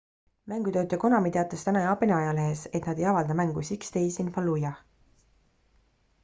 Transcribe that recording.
mängutootja konami teatas täna jaapani ajalehes et nad ei avalda mängu six days in fallujah